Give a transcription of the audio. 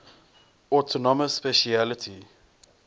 autonomous specialty